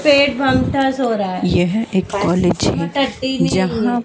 यह एक कॉलेज है जहां--